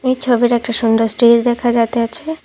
এই ছবির একটা সুন্দর স্টেজ দেখা যাইতে আছে ।